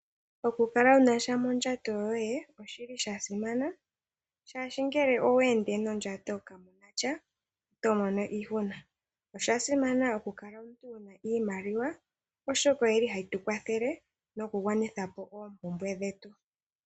Oku kala wuna sha mondjato yoye oshili shasimana oshoka ngele owe ende nondjato kamuna sha otomono iihuna oshasimana oku ka la wuna iimaliwa oshoka oyi li ha yi tu kwathela nokugwanitha po oompumbwe dhetu.